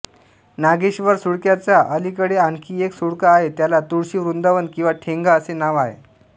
नागेश्वर सुळक्याच्या अलीकडे आणखी एक सुळका आहे त्याला तुळशी वृंदावन किंवा ठेंगा असे नाव आहे